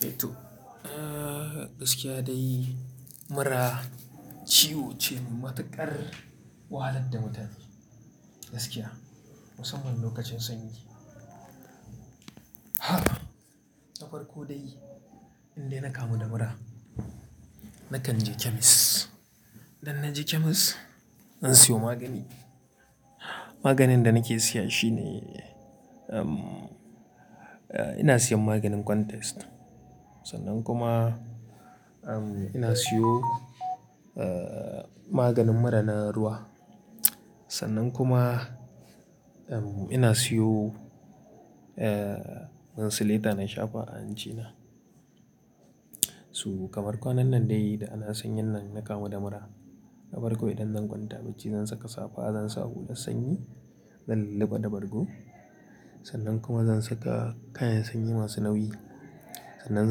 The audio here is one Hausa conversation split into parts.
Eh to, ah gaskiya dai mura ciwo ce matuƙar wahalar da mutane gaskiya musamman lokacin sanyi. Ha! Na farko dai idan dai na kamu da mura nakan je chemist. Idan na je chemist zan siyo magani. Maganin da nake siya shine, uhm, eh ina siyan maganin context sannan kuma uhm ina siyo ah maganin mura na ruwa. Sannan kuma uhm ina siyo eh mincilata na shafa a hancina. Su kamar kwanan nan dai da ana sanyin nan na kamu da mura. Na farko idan zan kwanta bacci zan saka safa, zan sa hular sanyi, zan lulluɓe da bargo sannan kuma zan saka kayan sanyi masu nauyi. Sannan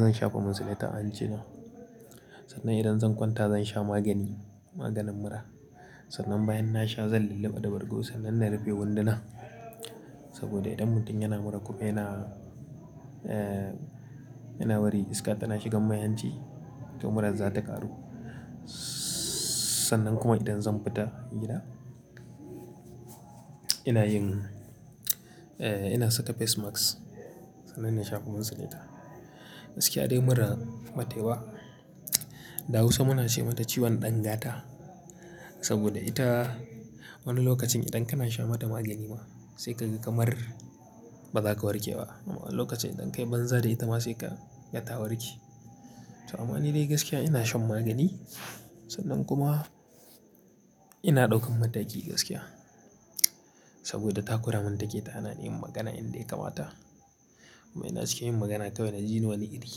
zan shafa mincilata a hancina. Sannan idan zan kwanta zan sha magani, maganin mura. Sannan bayan na sha zan lulluɓe da bargo sannan na rufe wunduna saboda idan mutum yana mura kuma yana, eh yana bari iska tana shigan mai hanci to muran za ta ƙaru. Sannan kuma idan zan fita gida ina yin, eh ina saka face mask sannan ina shafa mincilata. Gaskiya dai mura batai ba. Da hausa muna ce mata ciwon ɗan gata saboda ita wani lokacin idan kana sha mata magani ma sai ka ji kamar ba za ka warke ba. Wani lokacin idan kai banza dai ita ma sai ka ga ta warke. To amma nidai gaskiya ina shan magani sannan kuma ina ɗaukan mataki gaskiya saboda takura mun take ta hana ni yin magana inda ya kamata. Amma ina cikin yin magana kawai na ji ni wani iri.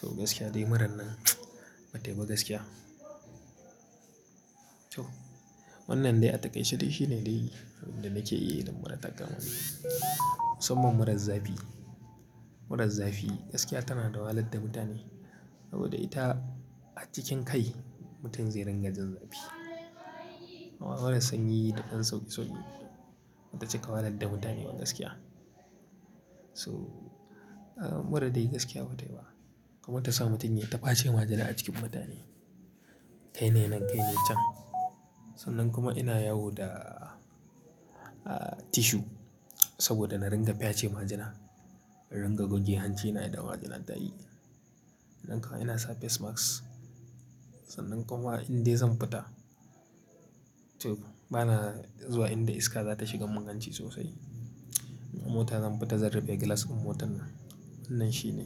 So gaskiya dai muran nan batai ba gaskiya. To wannan dai a takaice dai shine dai abin da nake iya yi idan mura ta kama ni. Musamman muran zafi. Muran zafi gaskiya tana da wahalar da mutane saboda ita a cikin kai mutum zai rangar jan zafi. Amma muran sanyi da ɗan sauki sauki bata cika wahalar da mutane ba gaskiya. So ah murar dai gaskiya batai ba kuma ta sa mutum yai ta face majina a cikin mutane. Kai ne nan kai ne can. Sannan kuma ina yawo da ah tissue saboda na ringa face majina, na ringa goge hancina idan majina ta yi. Nan kuma ina sa face mask. Sannan kuma indai zan fita, to bana zuwa inda iska za ta shiga mun ganci sosai. In mota zan fita zan fita zan rufe glass ɗin motar nan. Wannan shi ne.